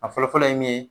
A fɔlɔ fɔlɔ ye min ye